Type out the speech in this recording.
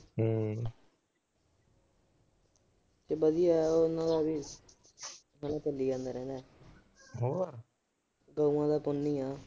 ਵਧੀਆ ਯਾਰ ਉਹਨਾਂ ਦਾ ਵੀ। ਆਈ ਚਲੀ ਜਾਣਾ ਰਹਿਣਾ। ਗਊ ਦਾ ਤਾਂ ਪੁੰਨ ਈ ਆ।